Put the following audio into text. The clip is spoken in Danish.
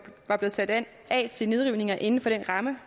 sat af til nedrivninger inden for den ramme